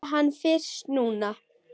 Sé hann fyrst núna.